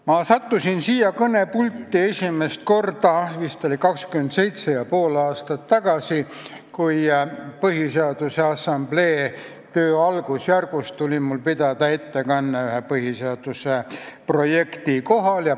Ma sattusin siia kõnepulti esimest korda vist 27 ja pool aastat tagasi, kui Põhiseaduse Assamblee töö algusjärgus tuli mul pidada ettekanne ühe põhiseaduse projekti kohta.